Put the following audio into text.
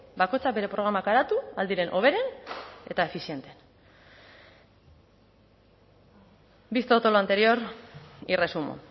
bakoitzak bere programak garatu ahal diren hoberen eta efiziente visto todo lo anterior y resumo